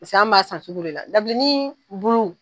an b'a san sugu de la dabilennin bulu.